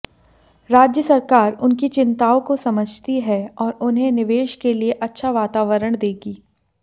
राज्य सरकार उनकी चिंताओं को समझती है और उन्हें निवेश के लिए अच्छा वातावरण देगी